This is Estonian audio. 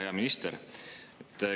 Hea minister!